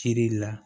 Kiri la